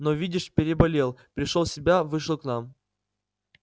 но видишь переболел пришёл в себя вышел к нам